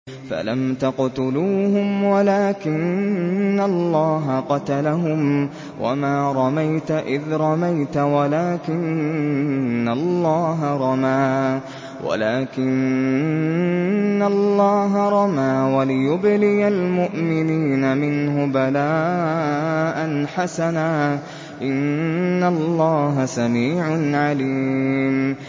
فَلَمْ تَقْتُلُوهُمْ وَلَٰكِنَّ اللَّهَ قَتَلَهُمْ ۚ وَمَا رَمَيْتَ إِذْ رَمَيْتَ وَلَٰكِنَّ اللَّهَ رَمَىٰ ۚ وَلِيُبْلِيَ الْمُؤْمِنِينَ مِنْهُ بَلَاءً حَسَنًا ۚ إِنَّ اللَّهَ سَمِيعٌ عَلِيمٌ